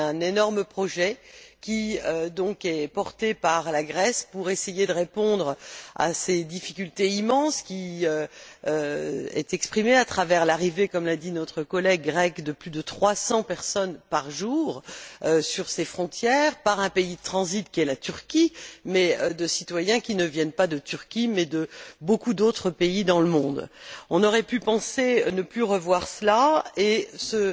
Il y a un énorme projet, élaboré par la Grèce pour essayer de répondre à ses difficultés immenses, qui se traduisent par l'arrivée comme l'a dit notre collègue grec de plus de 300 personnes par jour à ses frontières, par un pays de transit qu'est la Turquie, et il s'agit de citoyens qui ne viennent pas de Turquie mais de beaucoup d'autres pays dans le monde. On aurait pu penser ne plus revoir cela, et ce